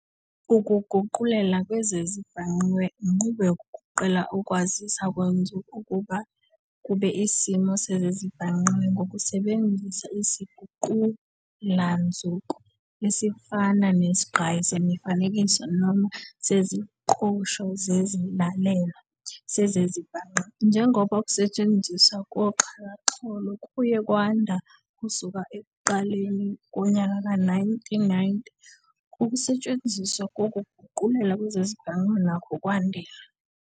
UkuGuqulela kwezeziBhangqiwe inqubo yokuguqula ukwaziswa kwenzuko kube isimo sezezibhangqiwe ngokusebenzisa isiguqulanzuko, esifana nesigqayi semifanekiso noma seziqoshwa zesilalelwa sezezibhangqiwe. Njengoba ukusetshenziswa koxhakaxholo kuye kwanda kusukela ekuqaleni kweye-1990, ukusetshenziswa kokuguqulela kwezezibhangqiwe nakho kwandile.